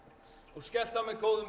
og skellti á mig góðum